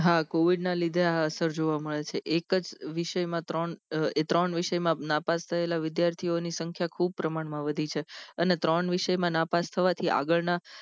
હા covid ના લીધે આ answer જોવા મળે છે એક જ વિષય માં ત્રણ ત્રણ વિષય માં નાપાસ થયેલા વિદ્યાર્થીઓની સંખ્યા ખુબ પ્રમાણ માં વધી છે અને ત્રણ વિષય માં નાપાસ થવાથી આગળ ના